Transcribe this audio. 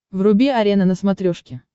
вруби арена на смотрешке